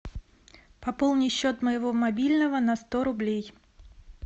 пополни счет моего мобильного на сто рублей